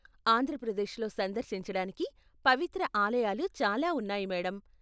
ఆంధ్ర ప్రదేశ్లో సందర్శించడానికి పవిత్ర ఆలయాలు చాలా ఉన్నాయి, మేడమ్.